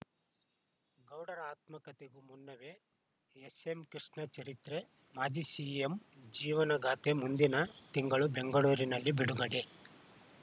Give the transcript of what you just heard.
ಗೌಡರ ಆತ್ಮಕತೆಗೂ ಮುನ್ನವೇ ಎಸ್ಸೆಂ ಕೃಷ್ಣ ಚರಿತ್ರೆ ಮಾಜಿ ಸಿಎಂ ಜೀವನಗಾಥೆ ಮುಂದಿನ ತಿಂಗಳು ಬೆಂಗಳೂರಿನಲ್ಲಿ ಬಿಡುಗಡೆ